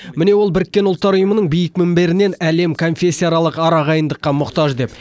міне ол біріккен ұлттар ұйымының биік мінберінен әлем конфессияаралық арағайындыққа мұқтаж деп